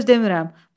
Bir söz demirəm.